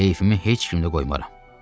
Heyfimi heç kim də qoymaram.